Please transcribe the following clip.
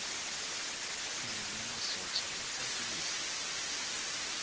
filimi ya masocha ya tsakisa